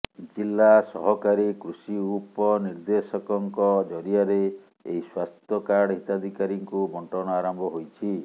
ଜିଲା ସହକାରୀ କୃଷି ଉପ ନିଦେ୍ର୍ଦଶକଙ୍କ ଜରିଆରେ ଏହି ସ୍ୱାସ୍ଥ୍ୟ କାର୍ଡ ହିତାଧିକାରୀଙ୍କୁ ବଣ୍ଟନ ଆରମ୍ଭ ହୋଇଛି